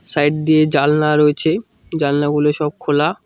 Side দিয়ে জালনা রয়েছে জালনাগুলি সব খোলা।